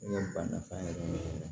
N ka ba nafa yɛrɛ